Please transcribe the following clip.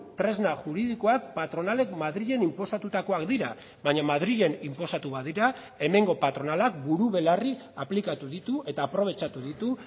tresna juridikoak patronalek madrilen inposatutakoak dira baina madrilen inposatu badira hemengo patronalak buru belarri aplikatu ditu eta aprobetxatu ditu